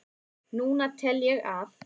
Núna tel ég að